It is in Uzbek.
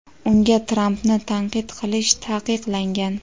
unga Trampni tanqid qilish taqiqlangan.